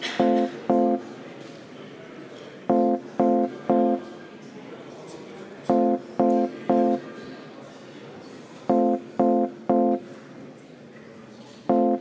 Riigikogu ei avaldanud justiitsminister Urmas Reinsalule umbusaldust.